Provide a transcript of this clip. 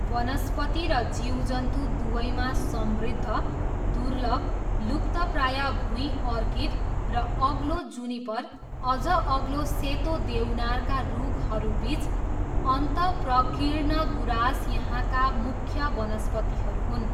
वनस्पति र जीवजन्तु दुवैमा समृद्ध, दुर्लभ, लुप्तप्राय भुइँ अर्किड र अग्लो जुनिपर, अझ अग्लो सेतो देवनारका रुखहरूबिच अन्तप्रकिर्ण गुँरास यहाँका मुख्य वनस्पतिहरू हुन्।